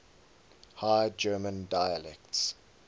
high german dialects